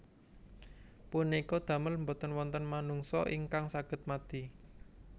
Punika damel boten wonten manungsa ingkang saged mati